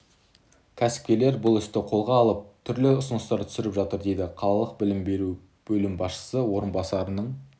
кәсіпкерлер бұл істі қолға алып түрлі ұсыныстар түсіріп жатыр дейді қалалық білім бөлімі басшысы орынбасарының